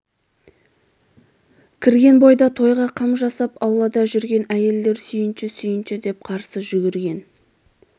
кірген бойда тойға қам жасап аулада жүрген әйелдер сүйінші сүйінші деп қарсы жүгірген